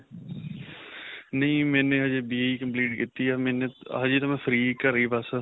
ਨਹੀਂ ਮੈਨੇ ਹਜੇ BA ਹੀ complete ਕੀਤੀ ਹੈ ਹਜੇ ਤਾਂ ਮੈਂ free ਘਰੇ ਹੀ ਬਸ.